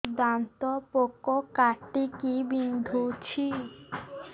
ଦାନ୍ତ ପୋକ କାଟିକି ବିନ୍ଧୁଛି